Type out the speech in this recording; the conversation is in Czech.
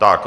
Tak.